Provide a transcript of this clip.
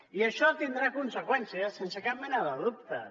i això tindrà conseqüències sense cap mena de dubtes